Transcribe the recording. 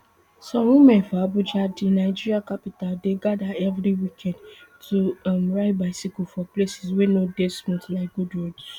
some women for abuja di nigeria capital dey gada evri weekend to um ride bicycle for places wey no dey smooth like good roads